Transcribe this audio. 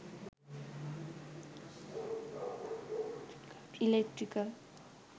eletrical